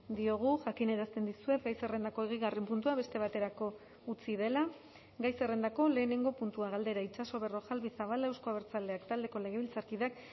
diogu jakinarazten dizuet gai zerrendako hogeigarren puntua beste baterako utzi dela gai zerrendako lehenengo puntua galdera itxaso berrojalbiz zabala euzko abertzaleak taldeko legebiltzarkideak